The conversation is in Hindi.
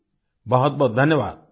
बहुतबहुत धन्यवाद